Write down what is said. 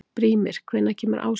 Brímir, hvenær kemur ásinn?